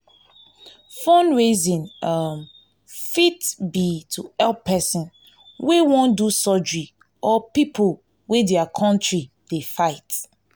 fundraising um fit be to help person wey wan do surgery or pipo wey their country dey fight